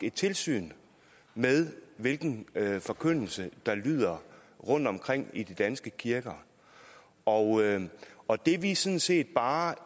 et tilsyn med hvilken forkyndelse der lyder rundtomkring i de danske kirker og og det vi sådan set bare